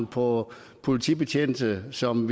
på politibetjente som